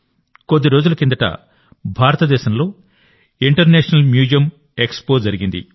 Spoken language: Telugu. కొద్ది రోజుల కిందట భారతదేశంలో ఇంటర్నేషనల్ మ్యూజియం ఎక్స్పో జరిగింది